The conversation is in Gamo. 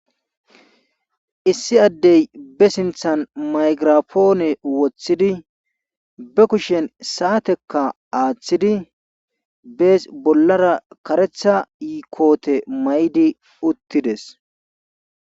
Issi addey be sinthan maygirapoone wothidi be kushen saatekka aathidi bees bolara karetha koote mayidi uttides.